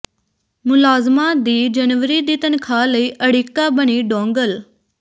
ਮੁਲਾਜ਼ਮਾਂ ਦੀ ਜਨਵਰੀ ਦੀ ਤਨਖਾਹ ਲਈ ਅੜਿੱਕਾ ਬਣੀ ਡੌਂਗਲ